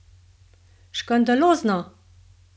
Škandalozno!